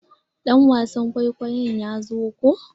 Dan wasan kwaikwayo ya zo ko?